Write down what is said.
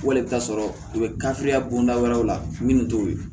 Wali i bɛ taa sɔrɔ u bɛ bonda wɛrɛw la minnu t'o ye